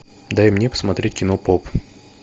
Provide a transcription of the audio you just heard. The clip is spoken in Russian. дай мне посмотреть кино поп